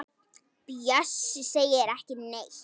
Bjössi segir ekki neitt.